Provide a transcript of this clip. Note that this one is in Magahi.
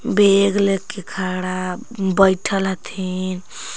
बेग लेके खड़ा बइठल हथिन।